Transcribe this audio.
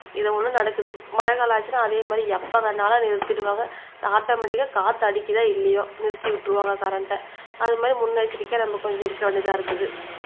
இது ஒண்ணு நடக்குது மழைக்காலம் ஆச்சுன்னா அதே மாதிரி எப்ப வேணாலும் அதை நிறுத்திடுவாங்க ஆட்டோமேடிக்க காத்து அடிக்குதோ இல்லையோ நிறுத்தி விட்டுருவாங்க கரண்ட அது மாறி முன்னெச்சரிக்கையா நம்ம கொஞ்சம் இருக்க வேண்டியதா இருக்குது